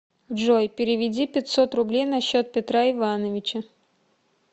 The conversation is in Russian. джой переведи пятьсот рублей на счет петра ивановича